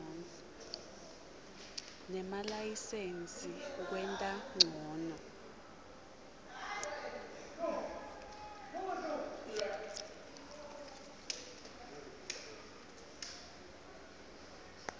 nemalayisensi kwenta ncono